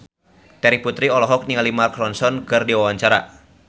Terry Putri olohok ningali Mark Ronson keur diwawancara